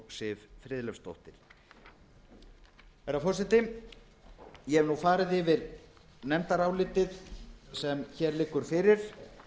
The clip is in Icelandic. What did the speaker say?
siv friðleifsdóttir herra forseti ég hef nú farið yfir nefndarálitið sem hér liggur fyrir